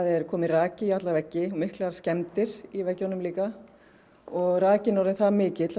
er kominn raki í alla veggi miklar skemmdir í veggjunum líka og rakinn er orðinn það mikill